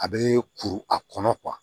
A bɛ kuru a kɔnɔ